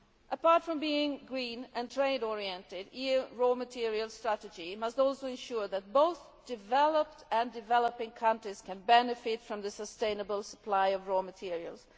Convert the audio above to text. Apart from being green and trade oriented, the EU raw materials strategy must also ensure that both developed and developing countries can benefit from the sustainable supply of materials.